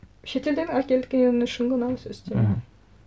шетелден әкеткен үшін ғана осы үстем мхм